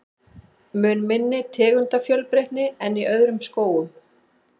Mun minni tegundafjölbreytni en í öðrum skógum.